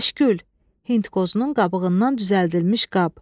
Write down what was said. Kəşkül, Hindqozunun qabığından düzəldilmiş qab.